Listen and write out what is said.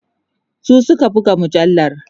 su Suka buga mujallar